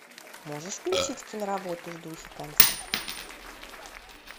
можешь включить киноработу в духе концерта